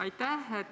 Aitäh!